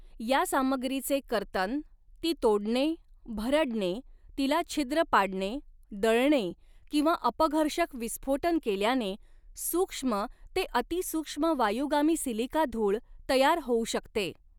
या सामग्रीचे कर्तन, ती तोडणे, भरडणे, तिला छिद्र पाडणे, दळणे किंवा अपघर्षक विस्फोटन केल्याने सूक्ष्म ते अति सूक्ष्म वायुगामी सिलिका धूळ तयार होऊ शकते.